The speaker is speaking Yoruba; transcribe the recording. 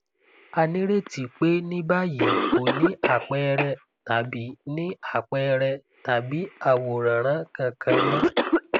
a nireti pé ní báyìí kò ní àpẹẹrẹ tàbí ní àpẹẹrẹ tàbí àwòránràn kankan mọ